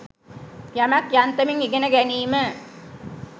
යමක් යන්තමින් ඉගෙන ගැනීම